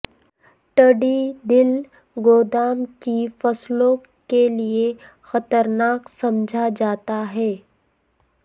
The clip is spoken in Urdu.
ٹڈی دل گندم کی فصلوں کے لیے خطرناک سمجھا جاتا ہے